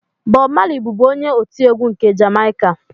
Bọb Mali bụbu onye otiegwu nke Jamaịka